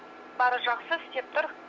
бәрі жақсы істеп тұр